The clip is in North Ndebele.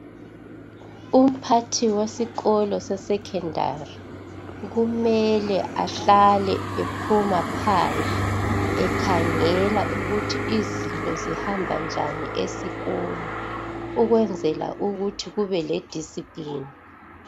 Umphathi wesikolo se secondary, kumele ahlale ephuma phandle ekhangela ukuthi izinto zihamba njani esikolo ukwenzela ukuthi kubele discipline.